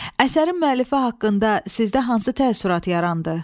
Əsərin müəllifi haqqında sizdə hansı təəssürat yarandı?